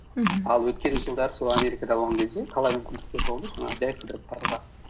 мхм ал өткен жылдары сол америкада болған кезде талай мүмкіндіктер болды жаңағы жай қыдырып баруға